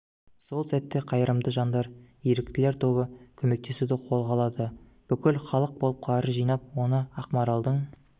сол сәтте қайырымды жандар еріктілер тобы көмектесуді қолға алады бүкіл халық болып қаржы жинап оны ақмаралдың